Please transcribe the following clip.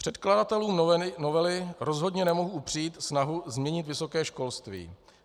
Předkladatelům novely rozhodně nemohu upřít snahu změnit vysoké školství.